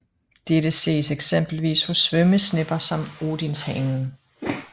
Dette ses eksempelvis hos svømmesnepper som odinshanen